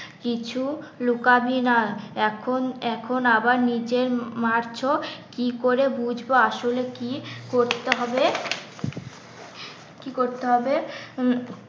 কিছু লুকাবি না এখন এখন আবার নিজে মারছো কি করে বুঝবো আসলে কি করতে হবে? কি করতে হবে?